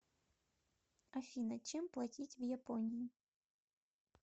афина чем платить в японии